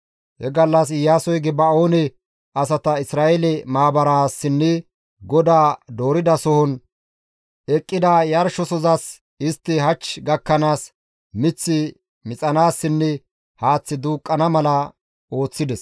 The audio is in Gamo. He gallas Iyaasoy Geba7oone asata Isra7eele maabaraassinne GODAY dooridasohon eqqida yarshosozas istti hach gakkanaas mith mixanaassinne haath duuqqana mala ooththides.